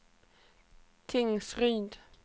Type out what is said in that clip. Tingsryd